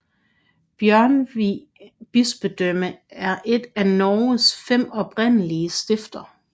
Bjørgvin bispedømme er et af Norges fem oprindelige stifter